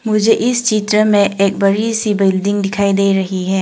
मुझे इस चित्र में एक बड़ी सी बिल्डिंग दिखाई दे रही है।